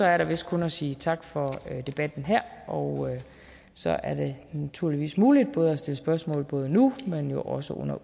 er der vist kun at sige tak for debatten og så er det naturligvis muligt både at stille spørgsmål nu men jo også under